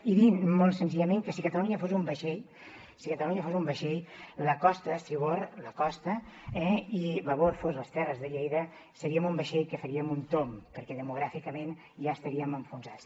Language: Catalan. i dir molt senzillament que si catalunya fos un vaixell si catalunya fos un vaixell la costa d’estribord la costa eh i babord fos les terres de lleida seríem un vaixell que faríem un tomb perquè demogràficament ja estaríem enfonsats